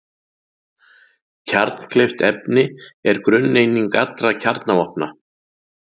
Kjarnkleyft efni er grunneining allra kjarnavopna.